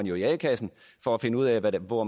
jo i a kassen for at finde ud af hvor